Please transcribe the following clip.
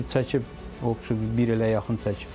Çəkib bir ilə yaxın çəkib.